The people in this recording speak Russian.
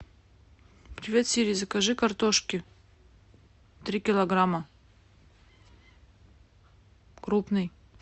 привет сири закажи картошки три килограмма крупной